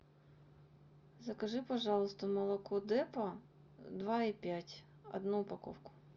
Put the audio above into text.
закажи пожалуйста молоко депа два и пять одну упаковку